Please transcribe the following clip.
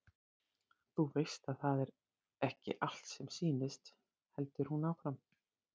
Þú veist að það er ekki allt sem sýnist, heldur hún áfram.